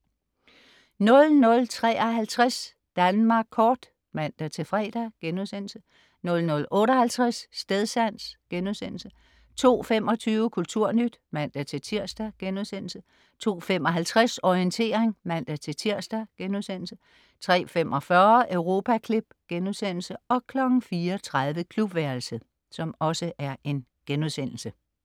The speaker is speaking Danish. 00.53 Danmark kort (man-fre)* 00.58 Stedsans* 02.25 Kulturnyt (man-tirs)* 02.55 Orientering (man-tirs)* 03.45 Europaklip* 04.30 Klubværelset*